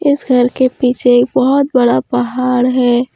इस घर के पीछे एक बहोत बड़ा पहाड़ है।